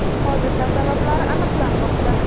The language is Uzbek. Hodisa sabablari aniqlanmoqda.